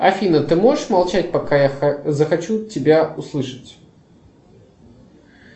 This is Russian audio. афина ты можешь молчать пока я захочу тебя услышать